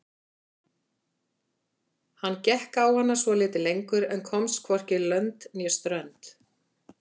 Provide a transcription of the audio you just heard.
Hann gekk á hana svolítið lengur en komst hvorki lönd né strönd.